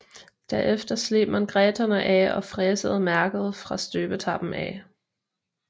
Derefter sleb man graterne af og fræsede mærket fra støbetappen af